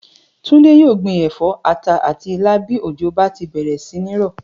Túndé yóò gbin è̩fó̩, ata àti ilá bí òjò bá ti bè̩rè̩ sí ní rò̩